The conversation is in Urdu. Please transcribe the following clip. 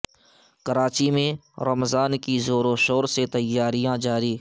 کراچی میں رمضان کی زور و شور سے تیاریاں جاری